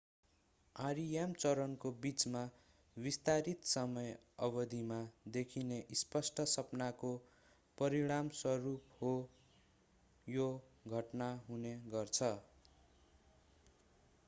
rem चरणको बिचमा विस्तारित समय अवधिमा देखिने स्पष्ट सपनाको परिणामस्वरूप यो घटना हुने गर्छ